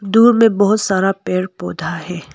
दूर में बहुत सारा पेड़ पौधा है।